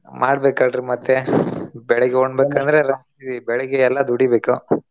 ಮಾಡ್ಬೇಕಲ್ರಿ ಮತ್ತೆ ಬೆಳಗ್ಗೆ ರಾತ್ರಿ ಬೆಳಗೆ ಎಲ್ಲಾ ದುಡಿಬೇಕು.